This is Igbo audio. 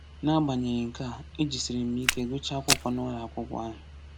N’agbanyeghị nke a, e jisiri m ike gụchaa akwụkwọ n’ụlọakwụkwọ ahụ.